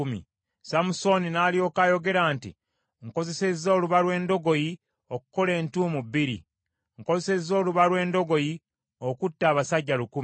Samusooni n’alyoka ayogera nti, “Nkozesezza oluba lw’endogoyi okukola entuumu bbiri; nkozesezza oluba lw’endogoyi okutta abasajja lukumi.”